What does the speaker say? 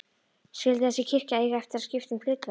Skyldi þessi kirkja eiga eftir að skipta um hlutverk?